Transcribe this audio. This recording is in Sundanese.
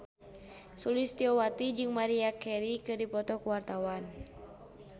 Sulistyowati jeung Maria Carey keur dipoto ku wartawan